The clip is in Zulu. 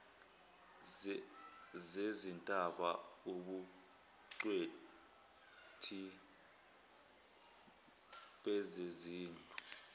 zezintaba ubungcweti bezezindlu